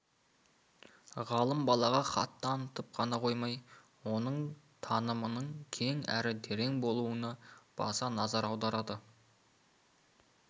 ғалым балаға хат танытып қана қоймай оның танымының кең әрі терең болуына баса назар аударады